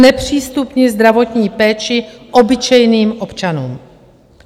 Znepřístupnit zdravotní péči obyčejným občanům.